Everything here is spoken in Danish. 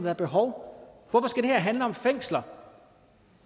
er behov for hvorfor skal det her handle om fængsler